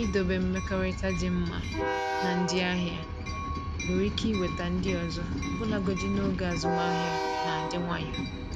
Idobe mmekọrịta dị mma na ndị ahịa nwere ike iweta ndị ọzọ ọbụlagodi n’oge azụmahịa na-adị nwayọ.